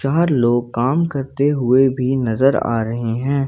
बाहर लोग काम करते हुए भी नजर आ रहे हैं।